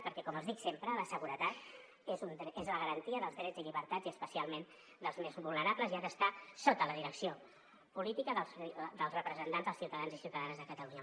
perquè com els dic sempre la seguretat és la garantia dels drets i llibertats i especialment dels més vulnerables i ha d’estar sota la direcció política dels representants dels ciutadans i ciutadanes de catalunya